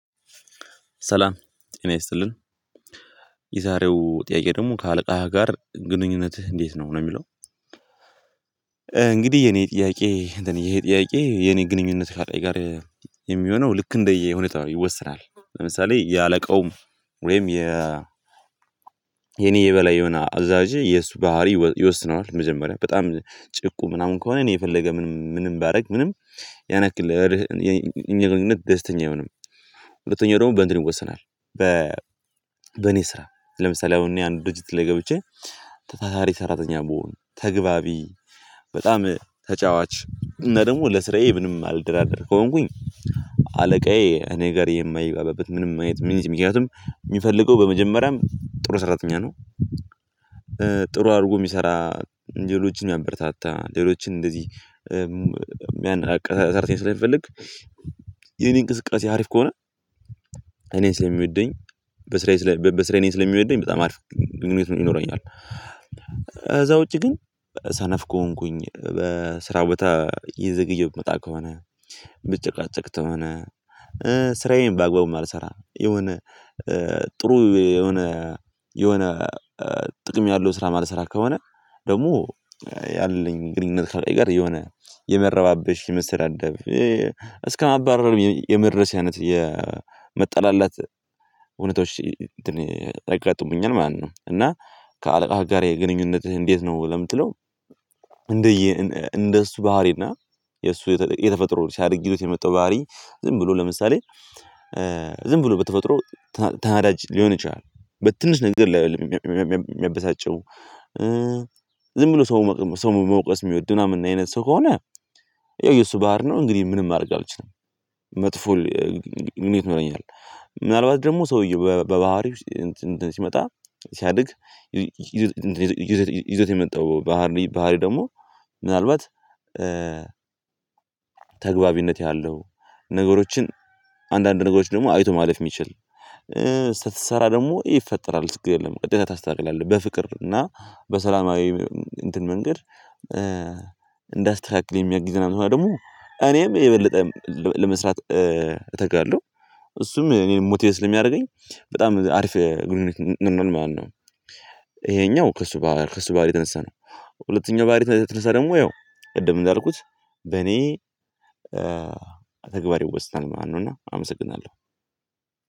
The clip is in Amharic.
ሰላም ጤና ይስጥልን የዛሬው ጥያቄ ደግሞ ከአለቃህ ጋር ግንኙነትህ እንዴት ነው? ነው የሚለው እንግዲህ የኔ ጥያቄ ይሄ ጥያቄ የኔ ግንኙነት ከአለቃዬ ጋር የሚሆነው ልክ እንደየሁኔታው ይወስናል ለምሳሌ የአለቃውም ወይም የኔ የበላይ የሆነ አዛዤ የእሱ ባህሪ ይወስነዋል መጀመሪያ በጣም ጭቁን ምናምን ከሆነ እኔ የፈለገ ምንም ምንም ባደርግ ምንም ያን ያክል ያለን ግንኙነት ደስተኛ አይሆንም ሁለተኛው ደግሞ በእንትን ይወሰናል በእኔ ስራ ለምሳሌ አሁን አንድ ድርጅት ላይ ገብቼ ታታሪ ሰራተኛ ብሆን ተግባቢ በጣም ተጫዋች እና ደግሞ ለስራዬ ምንም ማልደራደር ከሆንኩኝ አለቃዬ እኔ ጋር የማይግባባበት ምንም አይነት ሚንስ ምክንያቱም የሚፈልገው በመጀመሪያም ጥሩ ሰራተኛ ነው ጥሩ አድርጎ የሚሰራ ሌሎችን የሚያበረታታ ሌሎችን እንደዚህ ሚያነቃቃ ሰራተኛ ስለሚፈልግ የኔ እንቅስቃሴ አሪፍ ከሆነ እኔን ስለሚወደኝ በስራዬ እኔን ስለሚወደኝ በጣም አሪፍ ግኙነት ይኖረኛል ከዛ ውጪ ግን ሰነፍ ከሆንኩኝ በስራ ቦታ እየዘገየው የምመጣ ከሆነ ምጨቃጨቅ ተሆነ ስራዬን ባግባቡ ማልሰራ የሆነ ጥሩ የሆነ ጥቅም ያለው ስራ ማልሰራ ከሆነ ደግሞ ያለኝ ግንኙነት ካለቃዬ ጋር የሆነ የመረባበሽ የመሰዳደብ እስከማባረር የመድረስ አይነት የመጠላላት ሁኔታዎች እንትን ያጋጥሙኛል ማለት ነው እና ከአለቃህ ጋር ግንኙነትህ እንዴት ነው ለምትለው እንደየ እንደሱ ባህሪ እና የሱ የተፈጥሮ ሲያድግበት የመጣው ባህሪ ዝም ብሎ ለምሳሌ ዝም ብሎ በተፈጥሮ ተናዳጅ ሊሆን ይችላል በትንሽ ነገር የሚያበሳጨው ዝም ብሎ ሰው መውቀስ የሚወድ ምናምን አይነት ሰው ከሆነ ያው የሱ ባህሪ ነው እንግዲህ ምንም ማድረግ አልችልም መጥፎ ግንኙነት ይኖረኛል ምናልባት ደግሞ ሰውየው በባህሪው ሲመጣ ሲያድግ ይዞት የመጣው ባህሪ ባህሪ ደግሞ ምናልባት ተገባቢነት ያለው ነገሮችን አንዳንድ ነገሮችን ደግሞ አይቶ ማለፍ የሚችል ስትሰራ ደግሞ ይፈጠራል ችግር የለም እንደዛ ታስተካክላለህ በፍቅር እና በሰላማዊ እንትን መንገድ እንዳስተካክል የሚያግዝ ከሆነ እና ደግሞ እኔም የበለጠ ለመስራት እተጋለሁ እሱም እኔን ሞቲቬት ስለሚያደርገኝ በጣም አሪፍ ግንኙነት ይኖረናል ማለት ነው። ይሄኛው ከእሱ ከእሱ ባህሪ የተነሳ ነው ሁለተኛው ባህሪ የተነሳ ደግሞ ያው ቅድም እንዳልኩት በኔ ተግባር ይወስናል ማለት ነው እና አመሰግናለሁ።